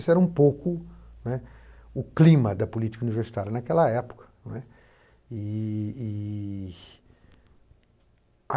Esse era um pouco, né, o clima da política universitária naquela época não é. E e e